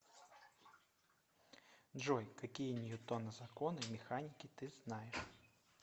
джой какие ньютона законы механики ты знаешь